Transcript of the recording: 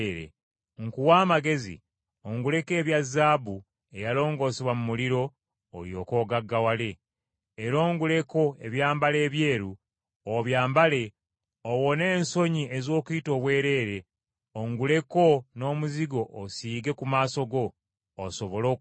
Nkuwa amagezi onguleko ebya zaabu, eyalongoosebwa mu muliro, olyoke ogaggawale. Era onguleko ebyambalo ebyeru, obyambale, owone ensonyi ez’okuyita obwereere; onguleko n’omuzigo osiige ku maaso go, osobole okulaba.